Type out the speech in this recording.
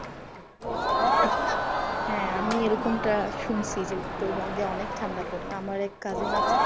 হ্যাঁ আমি এরকম টা শুনসি যে উত্তরবঙ্গে অনেক ঠান্ডা পরে। আমার এক cousin আছে